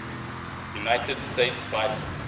united states vice